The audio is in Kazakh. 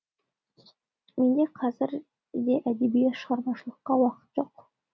менде қазір де әдеби шығармашылыққа уақыт жоқ